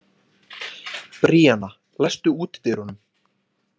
Bríana, læstu útidyrunum.